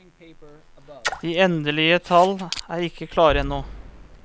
De endelige tall er ikke klare ennå.